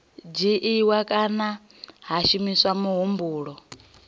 dzhiiwa kana ha shumiswa muhumbulo